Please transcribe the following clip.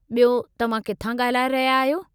ॿियो, तव्हां किथां ॻाल्हाए रहिया आहियो?